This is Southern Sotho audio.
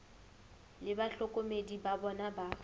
le bahlokomedi ba bona ba